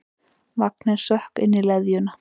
Vanginn sökk inn í leðjuna.